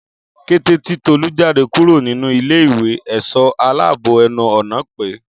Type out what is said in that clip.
Kété tí Tolú jáde kúrò nínú ilé ìwé èsó aláàbò ẹnu ọ̀nà pé